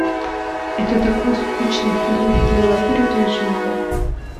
это такой скучный фильм давай переключим его